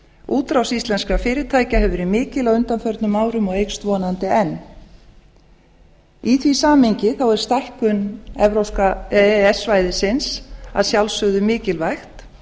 útrás íslenskra fyrirtækja hefur verið mikil á undanförnum árum og eykst vonandi enn í því samhengi er stækkun e e s svæðisins að sjálfsögðu mikilvæg